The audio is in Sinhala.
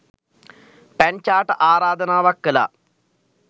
පැංචාට ආරාධනාවක් කළා.